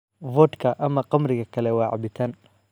Vodka ama khamriga kale waa cabitaan.